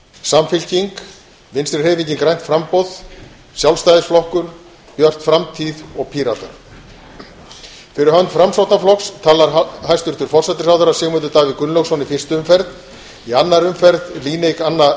samfylkingin vinstri hreyfingin grænt framboð sjálfstæðisflokkur björt framtíð og píratar fyrir hönd framsóknarflokks talar hæstvirtur forsætisráðherra sigmundur davíð gunnlaugsson í fyrstu umferð í annarri umferð líneik anna